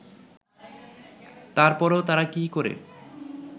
তার পরেও তাঁরা কী করে